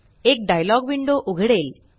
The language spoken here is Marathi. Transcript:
एक डायलॉग विंडो उघडेल